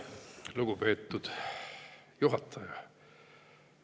Lugupeetud juhataja!